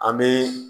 An bɛ